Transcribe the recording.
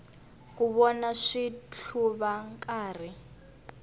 ku vona switlhuva nkarhi